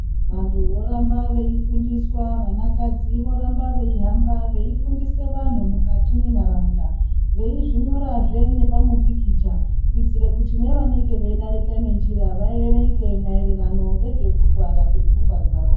Vantu voramba veifundiswa vanakadzi voramba veihamba veifundise vanhu mukati mwenharaunda. Veizvinyorazve nepamupikicha kuitire kuti nevanenge veidarika nenjira vaerenge maererano ngezvekurwara kwepfungwa dzavo.